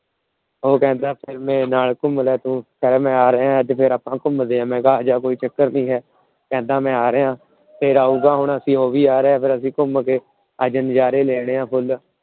ਉਹ ਕਹਿੰਦਾ ਮੈ ਘੁੰਮਣਾ ਉਹ ਆ ਰਿਹਾ ਫੇਰ ਆਪਾ ਘੁੰਮਦੇ। ਮੈ ਕਿਹਾ ਆਜਾ ਕੋਈ ਚੱਕਰ ਨਹੀਂ ਏ। ਕਹਿੰਦਾ ਮੈ ਆ ਰਿਹਾ ਫਿਰ ਆਊਂਗਾ। ਫੇਰ ਅਸੀਂ ਘੁੰਮ ਕੇ ਨਜ਼ਾਰੇ ਲੈਣੇ ਆ ਫੁਲ।